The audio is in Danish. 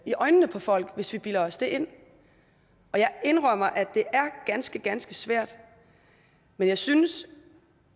i øjnene på folk hvis vi bilder os det ind jeg indrømmer at det er ganske ganske svært men jeg synes